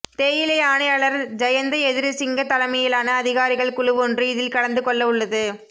தேயிலை ஆணையாளர் ஜயந்த எதிரிசிங்க தலைமையிலான அதிகாரிகள் குழுவொன்று இதில் கலந்து கொள்ளவுள்ளது